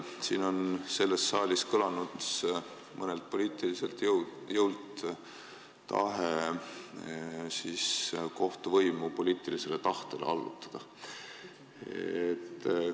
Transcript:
Siin selles saalis on mõnelt poliitiliselt jõult kõlanud tahe kohtuvõimu poliitilisele tahtele allutada.